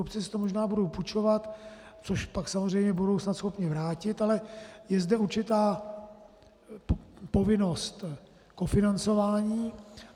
Obce si to možná budou půjčovat, což pak samozřejmě budou snad schopny vrátit, ale je zde určitá povinnost kofinancování.